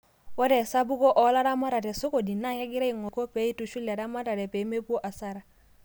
ore esapuko oo laramatak te sokoni naa kegira aing'oru eneiko pee eitushul eramare pee mepuo asara